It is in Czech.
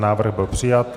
Návrh byl přijat.